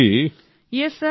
ভাবনা yes sir